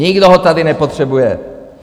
Nikdo ho tady nepotřebuje.